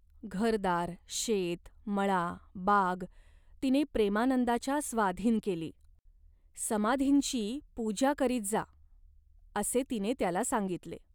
घरदार, शेत, मळा, बाग तिने प्रेमानंदाच्या स्वाधीन केली. 'समाधींची पूजा करीत जा,' असे तिने त्याला सांगितले.